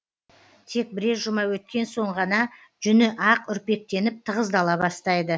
тек бірер жұма өткен соң ғана жүні ақ үрпектеніп тығыздала бастайды